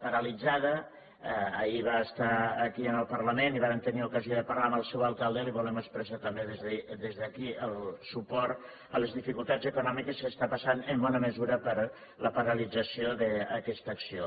paralitzada ahir va estar aquí en el parlament i vàrem tenir ocasió de parlar amb el seu alcalde i li volem expressar també des d’aquí el suport a les dificultats econòmiques que està passant en bona mesura per la paralització d’aquesta acció